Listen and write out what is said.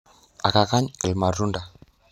Akakany ilmatunda.